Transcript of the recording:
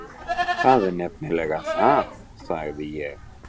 Það er nefnilega það, sagði ég.